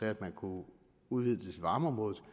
at man kunne udvide det til varmeområdet og